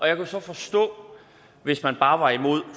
jeg kunne så forstå hvis man bare var imod